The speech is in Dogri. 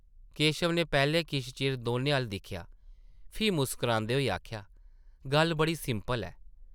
केशव नै पैह्लें किश चिर दौनें अʼल्ल दिक्खेआ ,फ्ही मुस्करांदे होई आखेआ, ‘‘गल्ल बड़ी सिंपल ऐ ।